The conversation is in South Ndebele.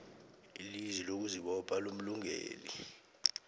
ilizwi lokuzibopha lomlungeleli